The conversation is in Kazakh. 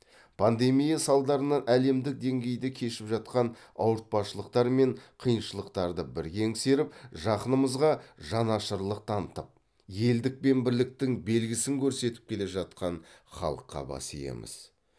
пандемия салдарынан әлемдік деңгейде кешіп жатқан ауыртпашылықтар мен қиыншылықтарды бірге еңсеріп жақынымызға жанашырлық танытып елдік пен бірліктің белгісін көрсетіп келе жатқан халыққа бас иеміз